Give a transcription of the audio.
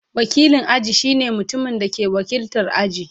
Wakilin aji shine mutumin da ke wakiltar aji.